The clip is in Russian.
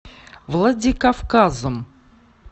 владикавказом